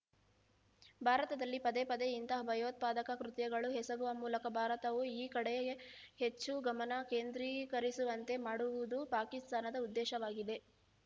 ಭಾರತದಲ್ಲಿ ಪದೇ ಪದೇ ಇಂತಹ ಭಯೋತ್ಪಾದಕ ಕೃತ್ಯಗಳು ಎಸಗುವ ಮೂಲಕ ಭಾರತವು ಈ ಕಡೆಯೇ ಹೆಚ್ಚು ಗಮನ ಕೇಂದ್ರೀಕರಿಸುವಂತೆ ಮಾಡುವುದು ಪಾಕಿಸ್ತಾನದ ಉದ್ದೇಶವಾಗಿದೆ